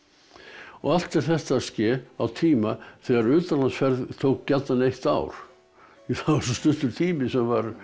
og allt er þetta að ske á tíma þegar utanlandsferð tók gjarnan eitt ár því það var svo stuttur tími sem var